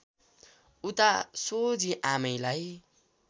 उता सोझी आमैलाई